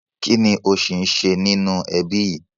Kinni ó sì ń ṣe nínú ẹbí yìí